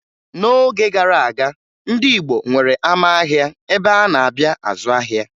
N'oge gara aga, ndị Igbo nwere ama ahịa ebe a na-abịa azụ ahịa